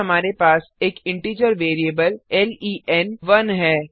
फिर हमारे पास एक इंटिजर वेरिएबल लेन1 है